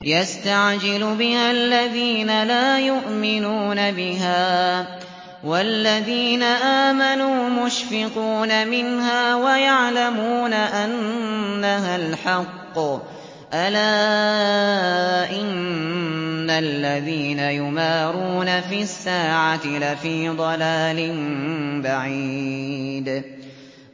يَسْتَعْجِلُ بِهَا الَّذِينَ لَا يُؤْمِنُونَ بِهَا ۖ وَالَّذِينَ آمَنُوا مُشْفِقُونَ مِنْهَا وَيَعْلَمُونَ أَنَّهَا الْحَقُّ ۗ أَلَا إِنَّ الَّذِينَ يُمَارُونَ فِي السَّاعَةِ لَفِي ضَلَالٍ بَعِيدٍ